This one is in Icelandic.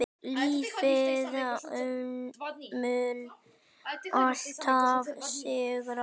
Lífið mun alltaf sigra.